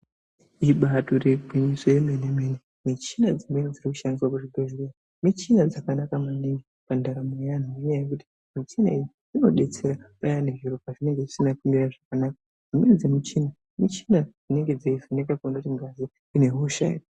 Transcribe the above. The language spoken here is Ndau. Ibatori gwinyiso yemene mene michina irikushandiswa kuzvibhedhleya michina dzakanaka maningi mundaramo yeandu ngekuti michina iyi inodetsera payani zviro pazvinenge zvisina kumira zvakanaka dzimweni dzemuchina muchina inenge yeiningira kuti ngazi ine hosha here.